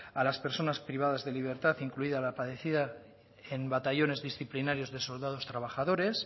a las personas privadas de libertad incluida la padecida en batallones disciplinarios de soldados trabajadores